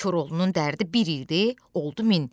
Koroğlunun dərdi bir idi, oldu min.